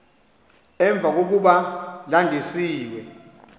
emva kokuba landisiwe